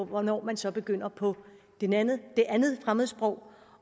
hvornår man så begynder på det andet fremmedsprog